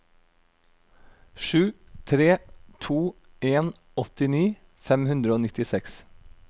sju tre to en åttini fem hundre og nittiseks